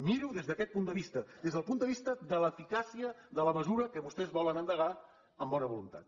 miri ho des d’aquest punt de vista des del punt de vista de l’eficàcia de la mesura que vostès volen endegar amb bona voluntat